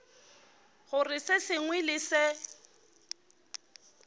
gore se sengwe le se